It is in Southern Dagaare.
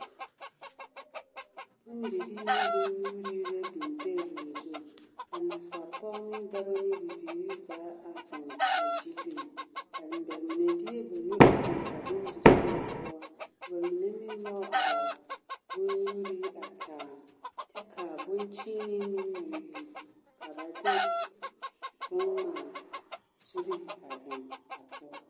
Bondirii ne bonnyuurii la biŋ teebol zu ka nasapɔge ne dɔbɔ ne bibiiri zaa a zeŋ a gyili bamine deɛ ba nu toŋ a bondirii ŋa poɔ ka bamine meŋ nyɔge a ba bonnyuurii a taa kyɛ ka boŋkyeenee meŋ naŋ biŋ ka ba de boŋŋmaa suree a eŋ a poɔ.